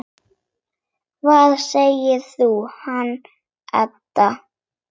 Hvað segirðu um hann, Edda?